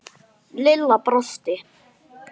Og þessi Lola.